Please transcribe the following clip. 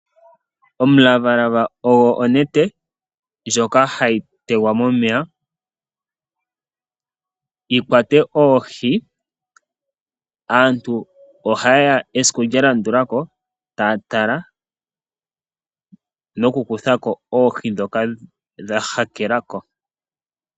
Omulavalava ogwo onete ndjoka ha yi tegwa momeya yi kwate oohi. Aantu oha yeya esiku lya landula ko ta ya tala noku kuthako oohi dhoka dha hakela ko.